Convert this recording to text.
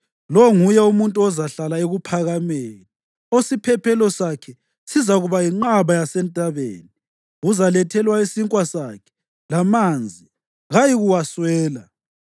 lo nguye umuntu ozahlala ekuphakameni, osiphephelo sakhe sizakuba yinqaba yasentabeni. Uzalethelwa isinkwa sakhe, lamanzi kayikuwaswela.